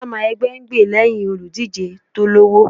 Chairman ẹgbẹ́ ń gbè lẹ́hìn olùdíje tó lọ́wọ́.